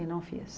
E não fiz.